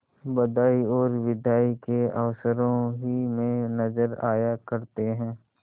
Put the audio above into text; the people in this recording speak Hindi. बधाई और बिदाई के अवसरों ही में नजर आया करते हैं